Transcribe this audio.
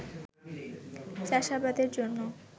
চাষাবাদের জন্য